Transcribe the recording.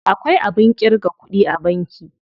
Akwai abin ƙirga kuɗi a banki.